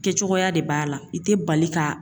Kɛ cogoya de b'a la i tɛ bali k'a